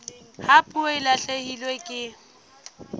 ha puo e lahlehelwa ke